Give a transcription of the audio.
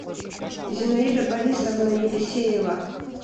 зинаида борисовна елисеева